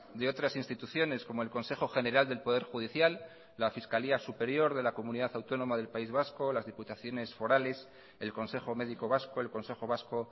de otras instituciones como el consejo general del poder judicial la fiscalía superior de la comunidad autónoma del país vasco las diputaciones forales el consejo médico vasco el consejo vasco